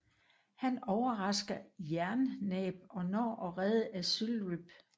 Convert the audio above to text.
Han overrasker Jernnæb og når at redde Ezylryb